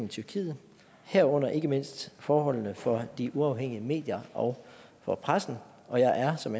i tyrkiet herunder ikke mindst forholdene for de uafhængige medier og for pressen og jeg er som